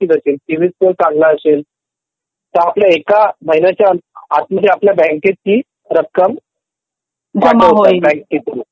असेल CIBIL score चांगला असेल तर आपल्याला एका महिन्यात ती रक्कम आपल्या खात्यात